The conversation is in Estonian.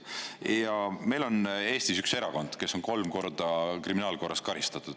Ja meil on Eestis üks erakond, kes on kolm korda kriminaalkorras karistatud.